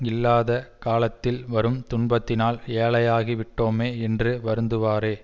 இல்லாத காலத்தில் வரும் துன்பத்தினால் ஏழையாகி விட்டோமே என்று வருந்துவாரே